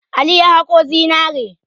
Ali ya haƙo zinare.